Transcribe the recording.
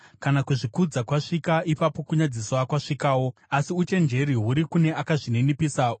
Kana kuzvikudza kwasvika, ipapo kunyadziswa kwasvikawo, asi uchenjeri huri kune akazvininipisa.